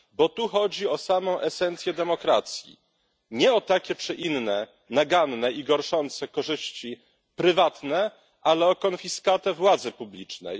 Bo tu chodzi o samą esencję demokracji, nie o takie czy inne naganne i gorszące korzyści prywatne, ale o konfiskatę władzy publicznej.